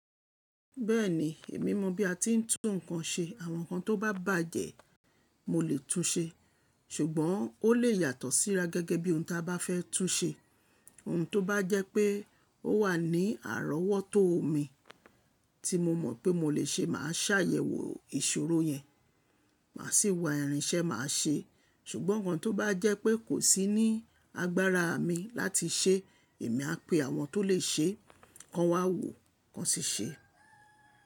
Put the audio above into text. Bẹ́ẹ̀ni, èmi mọ bí a ti ń tú nǹkan ṣe. Àwọn nǹkan tó bá bàjẹ́ mo lè túnsẹ. Ṣùgbọ́n ó lè yàtọ̀ síra gẹ́gẹ́ bí ohun tí a bá fẹ́ túnsẹ. Ohun tó bá jẹ́ pé ó wà ní àrówótó mi tí mo mọ̀ pé mo lè ṣe, màá ṣàyẹ̀wò ìṣòro yẹn. Màá sì wa irín iṣẹ́ màá ṣe. Ṣùgbọ́n nkan tó bá jẹ́ pé kò sí ní agbára mi láti ṣe, èmi á pe àwọn tó lè ṣe, kan wá wò ó kan sì ṣe.